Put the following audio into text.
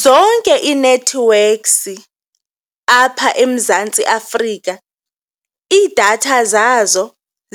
Zonke ii-networks apha eMzantsi Africa, iidatha zazo